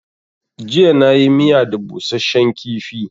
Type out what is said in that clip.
Jiya na yi miya da busashen kifi